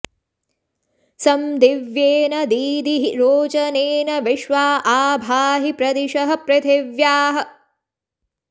सं दि॒व्येन॑ दीदिहि रोच॒नेन॒ विश्वा॒ आ भा॑हि प्र॒दिशः॑ पृथि॒व्याः